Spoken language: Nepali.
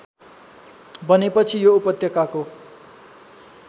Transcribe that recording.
बनेपछि यो उपत्यकाको